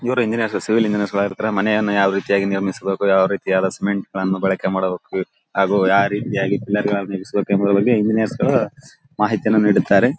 ಇವರು engineer civil engineer ಗಳು ಆಗಿರ್ತಾರೆ ಮನೆಯನ್ನ ಯಾವ ರೀತಿ ನಿರ್ಮಿಸಬೇಕು ಯಾವ ರೀತಿಯಾದ ಸಿಮೆಂಟ್ ಗಳನ್ನೂ ಬಳಕೆ ಮಾಡ್ಬೇಕು ಹಾಗು ಯಾವ್ ರೀತಿಯಾಗಿ ಪಿಲ್ಲರ್ ಗಳನ್ನೂ ನಿಲ್ಸ್ಬೇಕು ಎಂಬುಹುದರ ಬಗ್ಗೆ ಇಂಜಿನಿಯರ್ ಗಳು ಮಾಹಿತಿಯನ್ನ ನೀಡಿದ್ದಾರೆ.